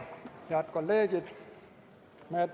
Head kolleegid!